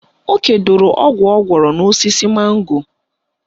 O kedoro ọgwụ ọ gwọrọ n'osisi mango